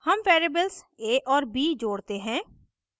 हम variables a और b जोड़ते हैं